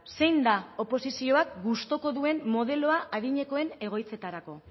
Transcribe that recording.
zein da oposizioak gustuko duen modeloa adinekoen egoitzetarako